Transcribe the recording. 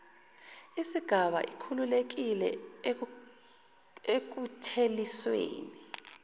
isgaba ikhululekile ekuthelisweni